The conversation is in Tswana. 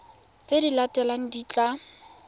tse di latelang di tla